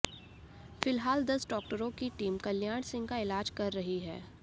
फिलहाल दस डॉक्टरों की टीम कल्याण सिंह का इलाज कर रही है